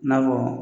I n'a fɔ